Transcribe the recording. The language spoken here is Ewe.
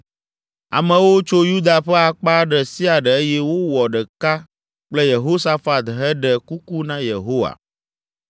Amewo tso Yuda ƒe akpa ɖe sia ɖe eye wowɔ ɖeka kple Yehosafat heɖe kuku na Yehowa.